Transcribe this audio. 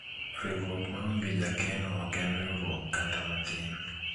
riwruok maonge jakeno ok en riwruok kata matin